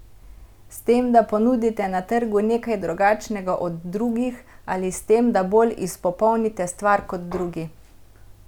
S tem, da ponudite na trgu nekaj drugačnega od drugih, ali s tem, da bolj izpopolnite stvar kot drugi?